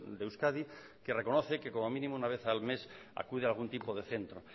de euskadi que reconoce que como mínimo una vez al mes acude a algún tipo de centro